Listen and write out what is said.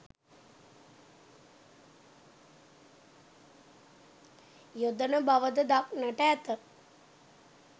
යොදන බව ද දක්නට ඇත.